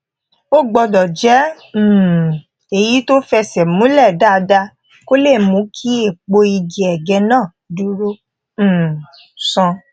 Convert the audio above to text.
ó gbódò jé um èyí tó fẹsè múlè dáadáa kó lè mú kí èèpo igi ege náà dúró um sán